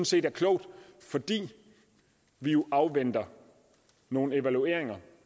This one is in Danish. set er klogt fordi vi jo afventer nogle evalueringer af